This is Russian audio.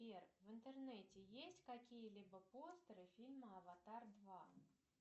сбер в интернете есть какие либо постеры фильма аватар два